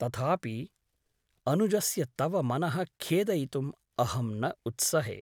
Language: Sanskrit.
तथापि अनुजस्य तव मनः खेदयितुम् अहं न उत्सहे ।